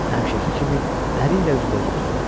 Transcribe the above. Həmişəki kimi əri ilə üzbəüz oturdu.